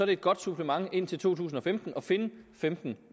det et godt supplement indtil to tusind og femten at finde femten